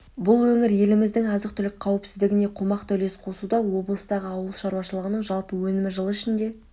бұл өңір еліміздің азық-түлік қауіпсіздігіне қомақты үлес қосуда облыстағы ауыл шаруашылығының жалпы өнімі жыл ішінде